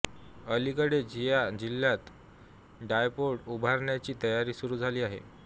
अलीकडेच या जिल्ह्यात ड्रायपोर्ट उभारण्याची तयारी सुरू झाली आहे